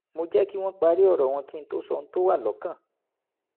mo jẹ́ kí wọ́n parí ọ̀rọ̀ wọn kí n tó sọ ohun tó wà lọ́kàn